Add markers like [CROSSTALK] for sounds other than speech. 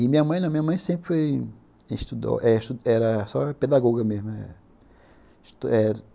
E minha mãe, minha mãe sempre foi, estudou, era só pedagoga mesmo [UNINTELLIGIBLE]